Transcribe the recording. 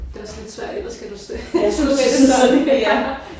Det er også lidt svært ellers skal du sidde med det sådan her